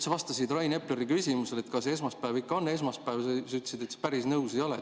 Sa vastasid Rain Epleri küsimusele, kas esmaspäev ikka on esmaspäev, ja ütlesid, et sa päris nõus ei ole.